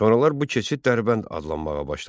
Sonralar bu keçid Dərbənd adlanmağa başladı.